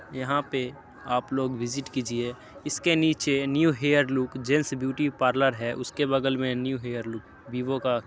यहाँ पे आपलोग विजिट कीजिये। इसके नीचे new hair look gents beauty parlour है उसके बगल में न्यू हेयर लुक वीवो का --